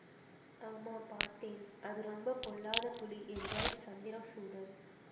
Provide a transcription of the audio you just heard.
ஆமா பார்த்தேன் அது ரொம்ப பொல்லாத புலி என்றான் சந்திரசூடன்